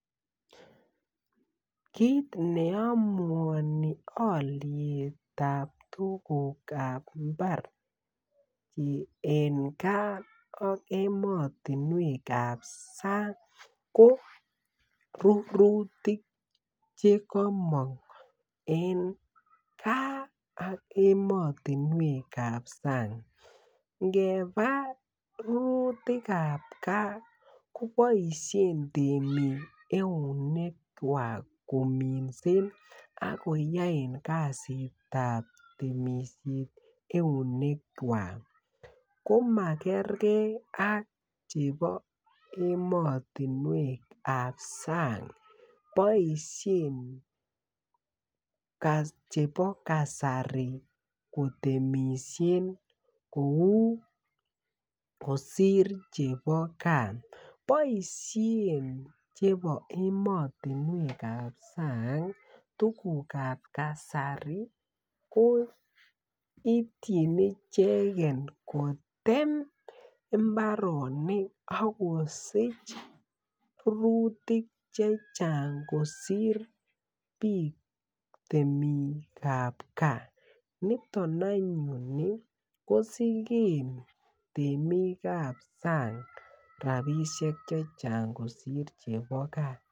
Kiit ne amuoni aliet ab tuguk kab mbar en gaa ak ematunwek kap sang ko komakutik chekomong gaa ak ematunwek kap sang ngepa arorutik kab gaa keboisien temik eunek kwak kominsen ak koyoe kasit ab temisiet eunek chwak komakerkei ak chebo emotunwek ab sang boisien chebo kasari ko temishet kou kosir chebo kon boishen chebo emotunwek ab sang tuguk ab kasari ko itin ichegen kotem imbaronik ak kosichmakutik chechang kosir biik temik ab gaa niton any anyune kosir temik ab sang rapisiek chechang kosir chebo gaa